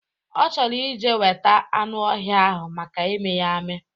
Ọ chọrọ ije weta anụ ọhịa ahụ maka ịmị ya amị